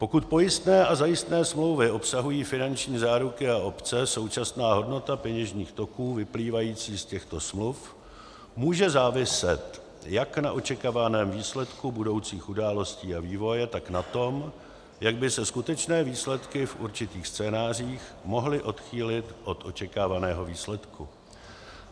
Pokud pojistné a zajistné smlouvy obsahují finanční záruky a opce, současná hodnota peněžních toků vyplývajících z těchto smluv může záviset jak na očekávaném výsledku budoucích událostí a vývoje, tak na tom, jak by se skutečné výsledky v určitých scénářích mohly odchýlit od očekávaného výsledku.